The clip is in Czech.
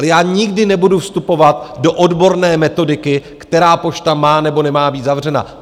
Ale já nikdy nebudu vstupovat do odborné metodiky, která pošta má nebo nemá být zavřena.